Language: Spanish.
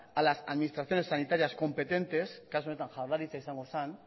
a las administraciones sanitarias competentes kasu honetan jaurlaritza izango zen